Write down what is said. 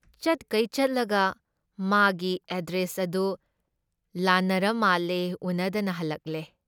ꯆꯠꯈꯩ ꯆꯠꯂꯒ ꯃꯥꯒꯤ ꯑꯦꯗ꯭ꯔꯦꯁ ꯑꯗꯨ ꯂꯥꯟꯅꯔꯃꯥꯜꯂꯦ ꯎꯟꯅꯗꯅ ꯍꯜꯂꯛꯂꯦ ꯫